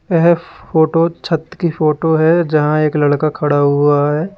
यह फोटो छत की फोटो है यहां एक लड़का खड़ा हुआ है।